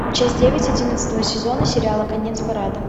часть девять одиннадцатого сезона сериала конец парада